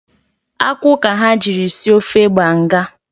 Akwụ ka ha jiri sie ofe banga